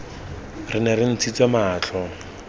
re nne re ntshitse matlho